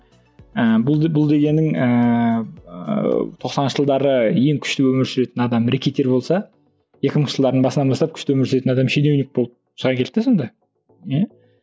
ыыы бұл бұл дегенің ыыы тоқсаныншы жылдары ең күшті өмір сүретін адам рэкетир болса екі мыңыншы жылдардың басынан бастап күшті өмір сүретін адам щенеунік болып шыға келді де сонда иә